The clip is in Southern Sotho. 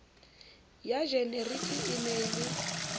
ya jenerike e na le